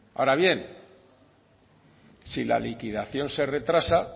ahora bien si la liquidación se retrasa